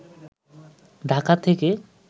ঢাকা থেকে